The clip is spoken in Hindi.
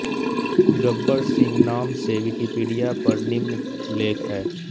गब्बर सिंह नाम से विकिपीडिया पर निम्न लेख हैं